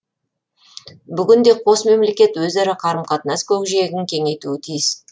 бүгінде қос мемлекет өзара қарым қатынас көкжиегін кеңейтуі тиіс